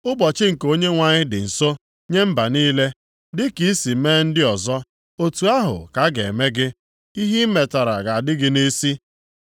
“Ụbọchị nke Onyenwe anyị dị nso nye mba niile. Dịka i si mee ndị ọzọ, otu ahụ ka a ga-eme gị; ihe i metara ga-adị gị nʼisi.